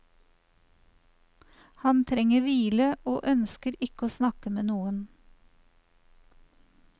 Han trenger hvile og ønsker ikke å snakke med noen.